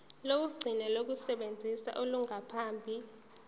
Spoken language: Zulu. lokugcina lokusebenza olungaphambi